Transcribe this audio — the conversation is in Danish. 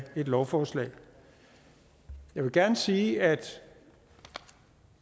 et lovforslag jeg vil gerne sige at